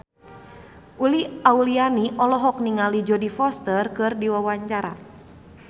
Uli Auliani olohok ningali Jodie Foster keur diwawancara